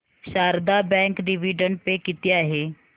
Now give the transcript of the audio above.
Sharda bank dividend pay किती आहे